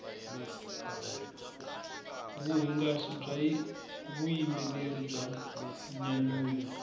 vuhungasi bya vuyimbeleri bya nyanyula